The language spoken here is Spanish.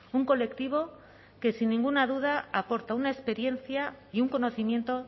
un colectivo que sin ninguna duda aporta una experiencia y un conocimiento